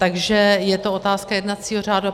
Takže je to otázka jednacího řádu.